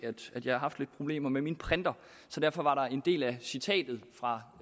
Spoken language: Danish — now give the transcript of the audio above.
at jeg har haft lidt problemer med min printer så derfor var der en del af citatet fra